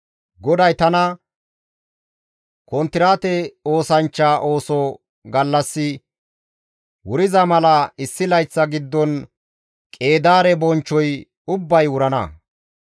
GODAY tana, «Konttiraate oosanchcha ooso gallassi wuriza mala issi layththa giddon Qeedaare bonchchoy ubbay wurana.